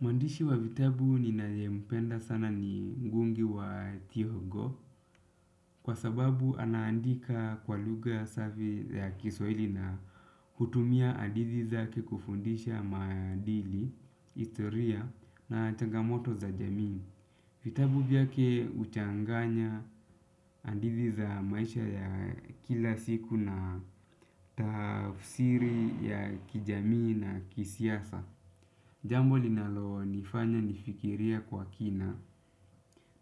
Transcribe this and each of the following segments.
Mwandishi wa vitabu ninayempenda sana ni ngugi wa Thiongo kwa sababu anaandika kwa lugha safi ya kiswaili na hutumia hadithi zake kufundisha maadili historia na changamoto za jamii. Vitabu vyake huchanganya hadithi za maisha ya kila siku na tafsiri ya kijamii na kisiasa. Jambo linalo nifanya nifikirie kwa kina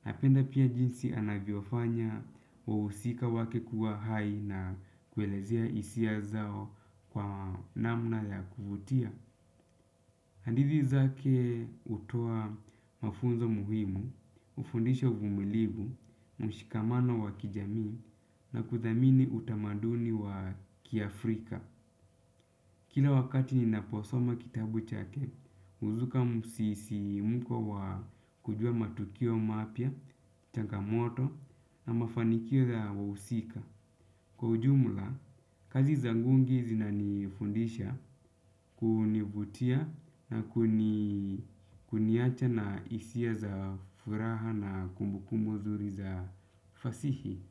napenda pia jinsi anavyofanya wahusika wake kuwa hai na kuelezea hisia zao kwa namna ya kuvutia. Hadithi zake hutoa mafunzo muhimu hufundisha uvumilivu, mshikamano wa kijamii na kuthamini utamaduni wa kiafrika. Kila wakati ninaposoma kitabu chake, huzuka msisimko wa kujua matukio mapya, changamoto na mafanikio za wa husika. Kwa ujumla, kazi za ngugi zina nifundisha kunivutia na kuniacha na hisia za furaha na kumbukumbu nzuri za fasihi.